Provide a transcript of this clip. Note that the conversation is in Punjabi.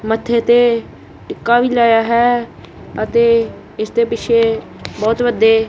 ਮੱਥੇ ਤੇ ਟਿੱਕਾ ਵੀ ਲਾਇਆ ਹੈ ਅਤੇ ਇਸਦੇ ਪਿੱਛੇ ਬੋਹਤ ਵਦੱਦੇ --